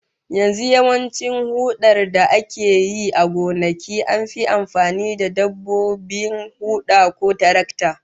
Yanzu yawancin hudar da ake yi a gonaki an fi amfani da dabbobin huda ko tarakta